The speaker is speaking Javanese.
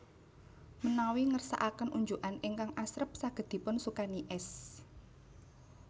Menawi ngersakaken unjukan ingkang asrep saged dipun sukani es